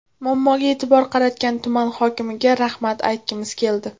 Muammoga e’tibor qaratgan tuman hokimiga rahmat aytgimiz keldi.